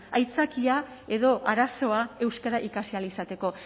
aitzakia edo arazoa euskara ikasi ahal izateko